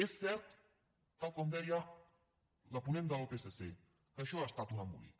és cert tal com deia la ponent del psc que això ha estat un embolic